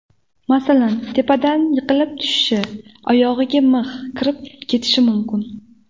Masalan, tepadan yiqilib tushishi, oyog‘iga mix kirib ketishi mumkin.